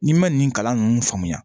N'i ma nin kalan ninnu faamuya